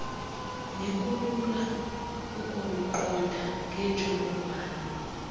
nekulula ukuluqonda ngentsholongwane